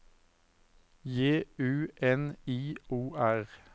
J U N I O R